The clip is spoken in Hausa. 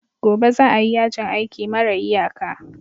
Gobe ​​za a yi yajin aiki mara iyaka